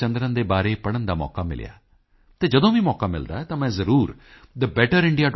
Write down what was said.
ਜਯਾ ਚੰਦਰਨ ਦੇ ਬਾਰੇ ਪੜ੍ਹਨ ਦਾ ਮੌਕਾ ਮਿਲਿਆ ਅਤੇ ਜਦੋਂ ਵੀ ਮੌਕਾ ਮਿਲਦਾ ਹੈ ਤਾਂ ਮੈਂ ਜ਼ਰੂਰ thebetterindia